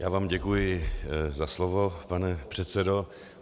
Já vám děkuji za slovo, pane předsedo.